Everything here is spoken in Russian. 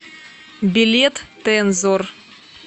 билет тензор